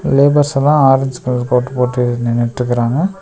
லேபர்ஸல்லா orange colour coat போட்டு நின்னுட்ருக்குறாங்க.